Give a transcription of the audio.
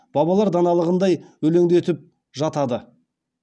бабалар даналығындай өлеңдетіп жатады